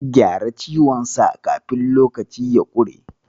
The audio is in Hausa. Gyara ciwonsa kafin lokaci ya ƙure.